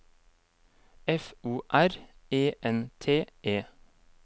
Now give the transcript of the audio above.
F O R E N T E